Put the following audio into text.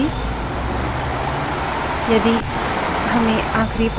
tail numbers txt